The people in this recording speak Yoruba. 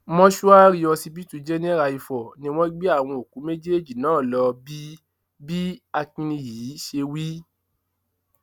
mòṣùárì ọsibítù jènèrà ifo ni wọn gbé àwọn òkú méjèèjì náà lọ bí bí akínbíyì ṣe wí